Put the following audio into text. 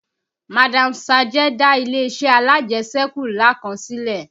Madam Sajẹ dá ilé-iṣẹ́ alajẹṣẹ́kù ńlá kan sílẹ̀